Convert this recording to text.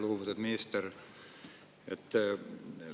Lugupeetud minister!